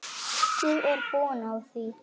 Ég er búin á því.